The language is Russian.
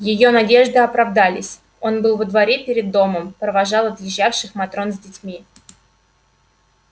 её надежды оправдались он был во дворе перед домом провожал отъезжавших матрон с детьми